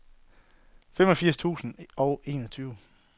femogfirs tusind og enogtyve